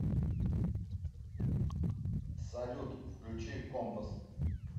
салют включи компасс